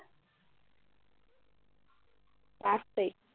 পাঁচ তাৰিখ